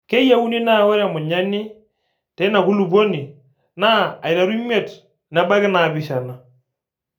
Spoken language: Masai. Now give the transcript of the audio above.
Keyieuni naa ore emunyani teina kulupuoni naa aiteru imiet nebaiki naapishana.